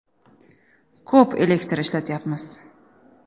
Ko‘p elektr ishlatyapmiz.